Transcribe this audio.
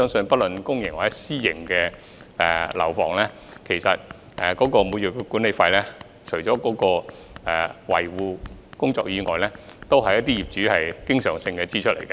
不論是公營或私營樓宇，每月管理費除了支付維修費用外，還要應付一些經常性支出。